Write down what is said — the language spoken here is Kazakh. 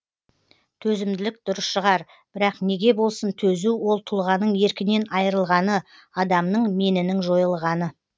төзімділік дұрыс шығар бірақ неге болсын төзу ол тұлғаның еркінен айырылғаны адамның менінің жойылғаны